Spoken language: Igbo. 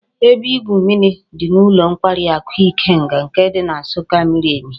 Ebe igwu mmiri di n'ulo nkwari aku Ikenga nke di na nsukka miri emi